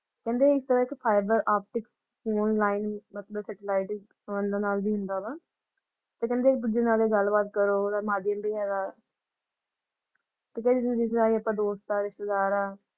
ਕਹਿੰਦੇ ਇਸ ਤਰਾਹ ਆਪਦਿਕ online ਮਤਲਬ satellite ਵਿਚ ਨਾਲ ਵੀ ਹੁੰਦਾ ਵਾ ਤੇ ਕਹਿੰਦੇ ਗੱਲ-ਬਾਤ ਕਰੋ ਓਹਦਾ ਮਾਰਗੀਂ ਵੀ ਹੈਗਾ ਦੋਸਤ ਹਾਂ ਰਿਸ਼ਤੇਦਾਰ ਹਾਂ ।